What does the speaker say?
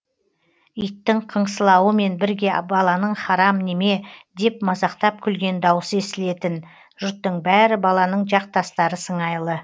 иттің қыңсылауымен бірге баланың харам неме деп мазақтап күлген даусы естілетін жұрттың бәрі баланың жақтастары сыңайлы